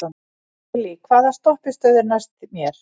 Lillý, hvaða stoppistöð er næst mér?